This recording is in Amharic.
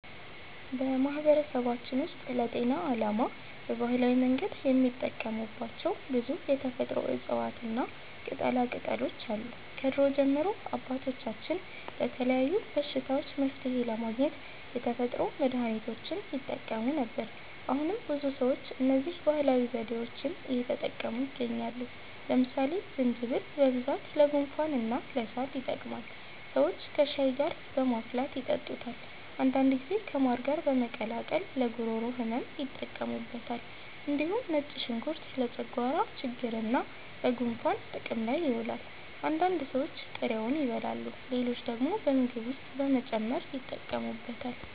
በማህበረሰባችን ውስጥ ለጤና ዓላማ በባህላዊ መንገድ የሚጠቀሙባቸው ብዙ የተፈጥሮ እፅዋትና ቅጠላቅጠሎች አሉ። ከድሮ ጀምሮ አባቶቻችን ለተለያዩ በሽታዎች መፍትሔ ለማግኘት የተፈጥሮ መድሀኒቶችን ይጠቀሙ ነበር። አሁንም ብዙ ሰዎች እነዚህን ባህላዊ ዘዴዎች እየተጠቀሙ ይገኛሉ። ለምሳሌ ዝንጅብል በብዛት ለጉንፋንና ለሳል ይጠቅማል። ሰዎች ከሻይ ጋር በማፍላት ይጠጡታል። አንዳንድ ጊዜ ከማር ጋር በመቀላቀል ለጉሮሮ ህመም ይጠቀሙበታል። እንዲሁም ነጭ ሽንኩርት ለጨጓራ ችግርና ለጉንፋን ጥቅም ላይ ይውላል። አንዳንድ ሰዎች ጥሬውን ይበላሉ፣ ሌሎች ደግሞ በምግብ ውስጥ በመጨመር ይጠቀሙበታል።